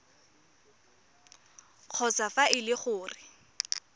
kgotsa fa e le gore